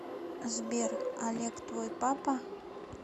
сбер олег твой папа